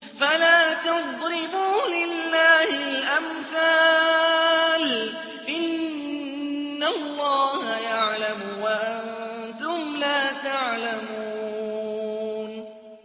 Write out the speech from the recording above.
فَلَا تَضْرِبُوا لِلَّهِ الْأَمْثَالَ ۚ إِنَّ اللَّهَ يَعْلَمُ وَأَنتُمْ لَا تَعْلَمُونَ